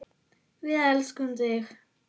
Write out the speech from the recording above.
Við elskum þig!